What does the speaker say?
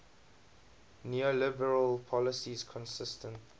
neoliberal policies consistent